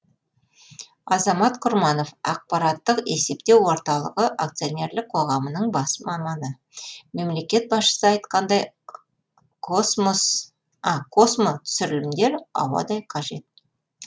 азамат құрманов ақпараттық есептеу орталығы акционерлік қоғамының бас маманы мемлекет басшысы айтқандай космотүсірілімдер ауадай қажет